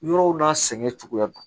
Yɔrɔw n'a sɛgɛn cogoya